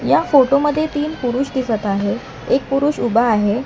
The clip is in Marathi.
या फोटो मध्ये तीन पुरुष दिसत आहेत एक पुरुष उभा आहे.